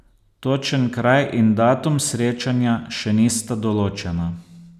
Točen kraj in datum srečanja še nista določena.